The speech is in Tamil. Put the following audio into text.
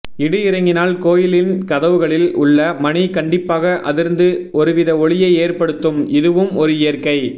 இடி இறங்கினால் கோயிலின் கதவுகளில் உள்ள மணி கண்டிப்பாக அதிர்ந்து ஒருவித ஒலியை ஏற்படுத்தும் இதுவும் ஒரு இயற்கை